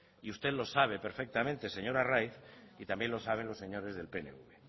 y usted lo sabe perfectamente señor arraiz y también lo saben los señores del pnv